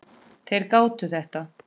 Þeir gátu þetta.